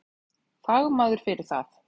Fagmaður fyrir það.